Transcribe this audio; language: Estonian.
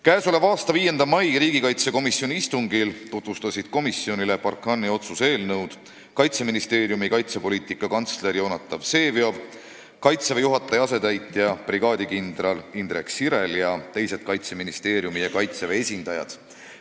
Käesoleva aasta 5. aprilli istungil tutvustasid komisjonile Barkhane'i operatsiooni käsitleva otsuse eelnõu Kaitseministeeriumi kaitsepoliitika asekantsler Jonatan Vseviov, Kaitseväe juhataja asetäitja brigaadikindral Indrek Sirel ning teised Kaitseministeeriumi ja Kaitseväe esindajad.